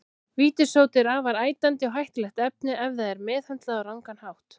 Vítissódi er afar ætandi og hættulegt efni ef það er meðhöndlað á rangan hátt.